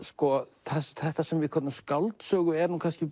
þetta sem við köllum skáldsögu er kannski